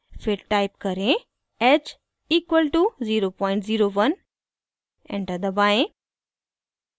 फिर टाइप करें: h equal to 001 enter दबाएं